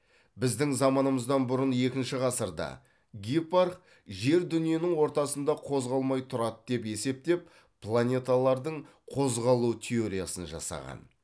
біздің заманымыздан бұрын екінші ғасырда гиппарх жер дүниенің ортасында қозғалмай тұрады деп есептеп планеталардың қозғалу теориясын жасаған